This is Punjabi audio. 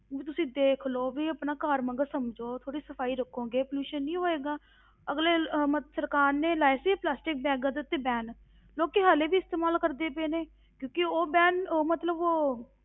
ਵੀ ਤੁਸੀਂ ਦੇਖ ਲਓ ਵੀ ਆਪਣਾ ਘਰ ਵਾਂਗ ਸਮਝੋ, ਥੋੜ੍ਹੀ ਸਫ਼ਾਈ ਰੱਖੋਗੇ pollution ਨਹੀਂ ਹੋਏਗਾ ਅਗਲੇ ਅਹ ਮਤ~ ਸਰਕਾਰ ਨੇ ਲਾਏ ਸੀ plastic bags ਦੇ ਉੱਤੇ ban ਲੋਕੀ ਹਾਲੇ ਵੀ ਇਸਤੇਮਾਲ ਕਰਦੇ ਪਏ ਨੇ, ਕਿਉਂਕਿ ਉਹ ban ਉਹ ਮਤਲਬ ਉਹ